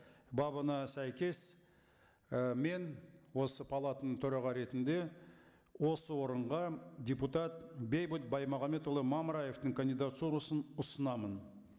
бабына сәйкес і мен осы палатаның төраға ретінде осы орынға депутат бейбіт баймағамбетұлы мамыраевтың кандидатурасын ұсынамын